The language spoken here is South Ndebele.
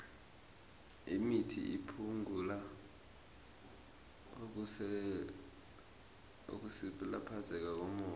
imithi iphungula ukusilaphezeka kommoya